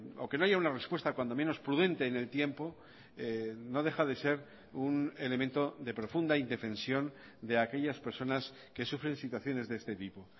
o que no haya una respuesta cuando menos prudente en el tiempo no deja de ser un elemento de profunda indefensión de aquellas personas que sufren situaciones de este tipo